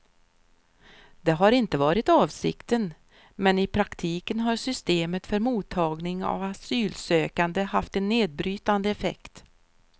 Det har inte varit avsikten, men i praktiken har systemet för mottagning av asylsökande haft en nedbrytande effekt.